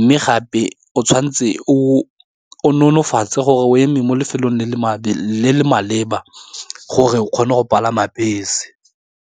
mme gape o tshwanetse o nonofatsa gore o eme mo lefelong le le maleba gore o kgone go palama bese.